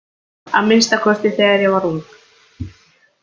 Að minnsta kosti þegar ég var ung.